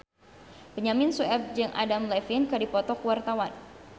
Benyamin Sueb jeung Adam Levine keur dipoto ku wartawan